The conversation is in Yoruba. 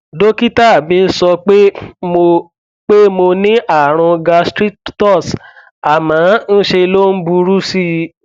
dókítà mi sọ pé mo pé mo ní ààrùn gastritus àmọ ń ṣe ló ń burú sí i